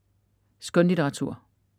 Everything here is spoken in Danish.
Skønlitteratur